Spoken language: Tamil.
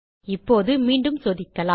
இப்போது மீண்டும் சோதிக்கலாம்